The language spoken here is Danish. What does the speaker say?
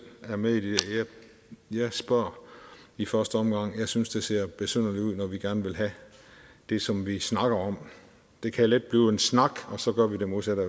er med i det ja jeg spørger i første omgang jeg synes det ser besynderligt ud når vi gerne vil have det som vi snakker om det kan let blive en snak og så gør vi det modsatte af